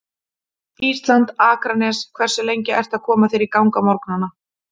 Ísland, Akranes Hversu lengi ertu að koma þér í gang á morgnanna?